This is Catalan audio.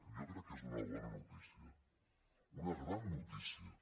jo crec que és una bona notícia una gran notícia